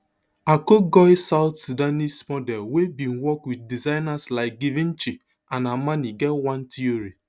akur goi south sudanese model wey bin work wit designers like givenchy and armani get one theory